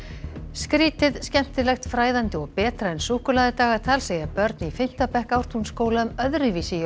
skrýtið skemmtilegt fræðandi og betra en súkkulaðidagatal segja börn í fimmta bekk Ártúnsskóla um öðru vísi